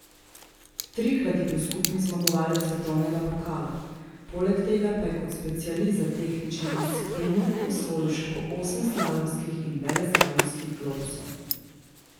Trikrat je bil skupni zmagovalec svetovnega pokala, poleg tega pa je kot specialist za tehnični disciplini osvojil še po osem slalomskih in veleslalomskih globusov.